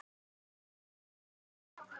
Fyrr og nú.